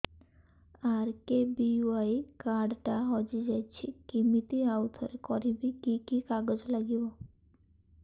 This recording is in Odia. ଆର୍.କେ.ବି.ୱାଇ କାର୍ଡ ଟା ହଜିଯାଇଛି କିମିତି ଆଉଥରେ କରିବି କି କି କାଗଜ ଲାଗିବ